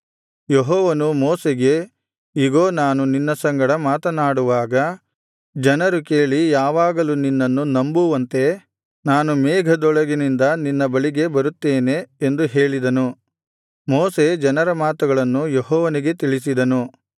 ಯೆಹೋವನು ಮೋಶೆಗೆ ಇಗೋ ನಾನು ನಿನ್ನ ಸಂಗಡ ಮಾತನಾಡುವಾಗ ಜನರು ಕೇಳಿ ಯಾವಾಗಲೂ ನಿನ್ನನ್ನು ನಂಬುವಂತೆ ನಾನು ಮೇಘದೊಳಗಿನಿಂದ ನಿನ್ನ ಬಳಿಗೆ ಬರುತ್ತೇನೆ ಎಂದು ಹೇಳಿದನು ಮೋಶೆ ಜನರ ಮಾತುಗಳನ್ನು ಯೆಹೋವನಿಗೆ ತಿಳಿಸಿದನು